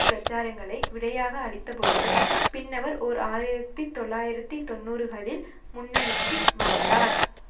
பிரசாரங்களை விடையாக அளித்தபொழுது பின்னவர் ஓர் ஆயிரத்தி தொள்ளாயிரத்தி தொன்னூறுகளில் முன்னணிக்கு வந்தார்